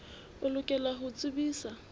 o lokela ho o tsebisa